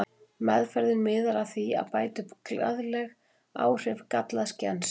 Meðferðin miðar að því að bæta upp skaðleg áhrif gallaðs gens.